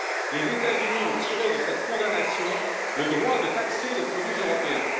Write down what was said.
Les États Unis ont tiré de cette condamnation le droit de taxer les produits européens.